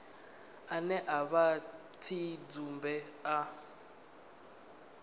ane a vha tshidzumbe a